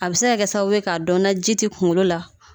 A bɛ se ka kɛ sababu ye k'a dɔn ni ji tɛ kunkolo la